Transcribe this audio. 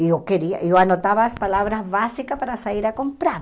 E eu queria, eu anotava as palavras básicas para sair a comprar.